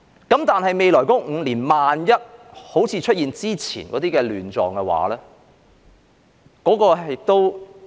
但是，在未來5年，萬一出現好像之前的亂狀，那怎麼辦？